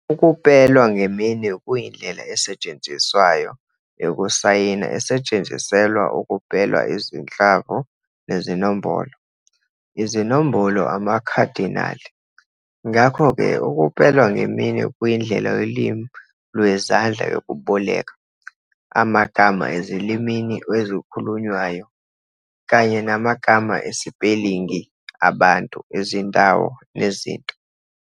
Ukupela ngeminwe kuyindlela esetshenziswayo yokusayina esetshenziselwa ukupela izinhlamvu nezinombolo, izinombolo, amakhadinali. Ngakho-ke, ukupela ngeminwe kuyindlela yolimi lwezandla "yokuboleka" amagama ezilimini ezikhulunywayo, kanye namagama esipelingi abantu, izindawo nezinto.